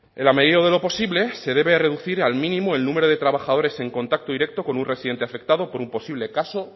en la medida de lo posible se debe reducir al mínimo el número de trabajadores en contacto directo con un residente afectado por un posible caso